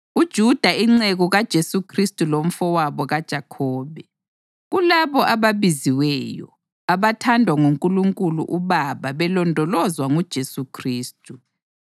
UJuda, inceku kaJesu Khristu lomfowabo kaJakhobe, Kulabo ababiziweyo, abathandwa nguNkulunkulu uBaba belondolozwa nguJesu Khristu: